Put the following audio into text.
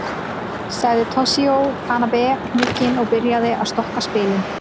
Sagði Toshizo Tanabe hnugginn og byrjaði að stokka spilin.